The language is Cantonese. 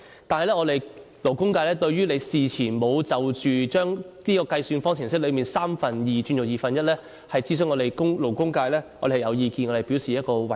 但是，對於你事前沒有就把計算方程式由三分之二轉為二分之一而諮詢勞工界，我們勞工界是有意見的，並表示遺憾。